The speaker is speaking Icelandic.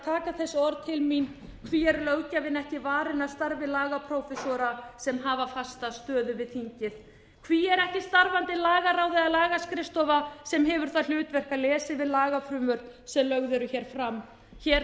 taka þessi orð til sín hví er löggjafinn ekki varinn af starfi lagaprófessora sem hafa fasta stöðu við þingið hví er ekki starfandi lagaráð eða lagaskrifstofa sem hefur það hlutverk að lesa yfir lagafrumvörp sem lögð eru hér fram hér